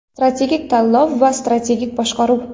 Strategik tanlov va strategik boshqaruv.